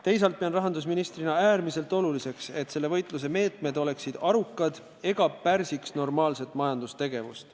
Teisalt pean rahandusministrina äärmiselt oluliseks, et selle võitluse meetmed oleksid arukad ega pärsiks normaalset majandustegevust.